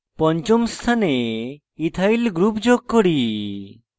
পঞ্চম স্থানে ethyl ethyl group যোগ করি